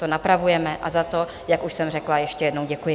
To napravujeme a za to, jak už jsem řekla, ještě jednou děkuji.